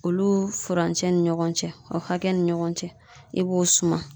Olu furancɛ ni ɲɔgɔn cɛ o hakɛ ni ɲɔgɔn cɛ i b'o suman.